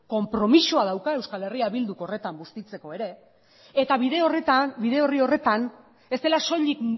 konpromisoa dauka eh bilduk horretan bustitzeko ere eta bide horretan bide orri horretan ez dela soilik